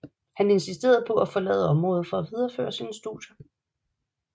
Han insisterede på at forlade området for at videreføre sine studier